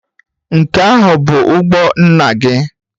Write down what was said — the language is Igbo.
Nke ahụ bụ ụgbọ nna gị?